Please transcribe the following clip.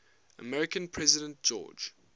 american president george